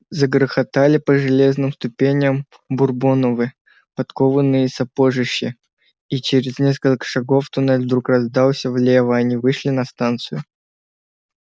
загрохотали по железным ступеням бурбоновы подкованные сапожищи и через несколько шагов туннель вдруг раздался влево они вышли на станцию